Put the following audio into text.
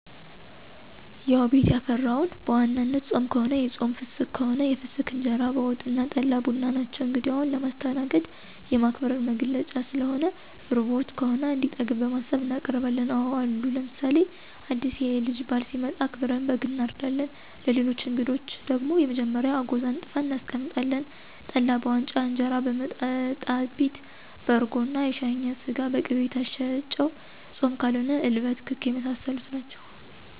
ያዉ ቤት ያፈራዉን፦ በዋናነት ጾም ከሆነ የጾም ፍስክ ከሆነ የፍሰክ እንጀራ በወጥ አና ጠላ፣ ቡና ናቸዉ። እንግዳዉን ለማስተናገድ፣ የማክበር መገለጫ ስለሆነ፣ ርቦት ከሆነ እንዲጠግብ በማሰብ እናቀርባለን። አወ አሉ ለምሳሌ አዲስ የልጅ ባል ሲመጣ አክብረን በግ አናርዳለን፣ ለሌሎች አንግዶች ደግሞ መጀመሪያ አጎዛ አንጥፈን እናስቀምጣለን፣ ጠላ በዋንጫ እንጀራ በመጣጣቢት በአርጎና የሻኛ ስጋ፣ በቂቤ የታሸ ጨዉ፣ ጾም ከሆነ እልበት፣ ክክ የመሳሰሉት ናቸዉ።